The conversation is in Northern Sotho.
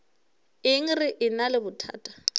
eng re ena le bothata